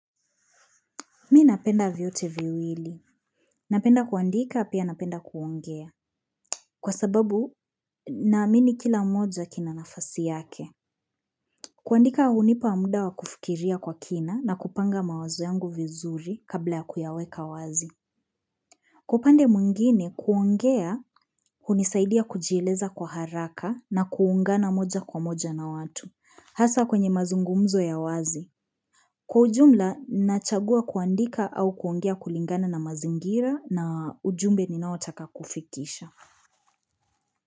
Mi napenda vyote viwili. Napenda kuandika pia napenda kuongea. Kwa sababu naamini kila moja kina nafasi yake. Kuandika hunipa muda wa kufikiria kwa kina na kupanga mawazo yangu vizuri kabla ya kuyaweka wazi. Kwa upande mwngine kuongea hunisaidia kujieleza kwa haraka na kuungana moja kwa moja na watu. Hasa kwenye mazungumzo ya wazi. Kwa ujumla, nachagua kuandika au kuongea kulingana na mazingira na ujumbe ninaotaka kufikisha.